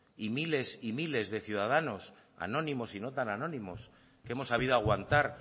y miles y miles de ciudadanos anónimos y no tan anónimos que hemos sabido aguantar